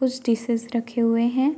कुछ डिशेस रखे हुए हैं।